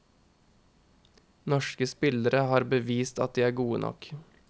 Norske spillere har bevist at de er gode nok.